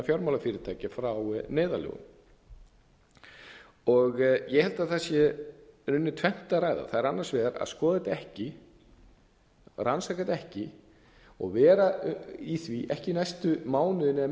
fjármálafyrirtækja frá neyðarlögunum ég held að það sé í rauninni tvennt að ræða það er annars vegar að skoða þetta ekki að að rannsaka þetta ekki og vera í því ekki næstu mánuðina eða